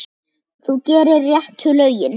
Þú gerir réttu lögin.